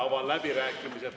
Avan läbirääkimised.